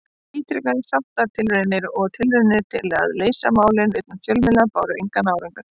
Ítrekaðar sáttatilraunir og tilraunir til að leysa málin utan fjölmiðla báru engan árangur.